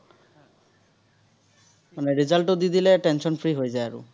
মানে result টো দি দিলে tension-free হৈ যায় আৰু।